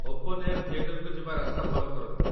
open air ଥିଏଟର୍‌କୁ ଯିବା ରାସ୍ତା ଫଲୋ କରନ୍ତୁ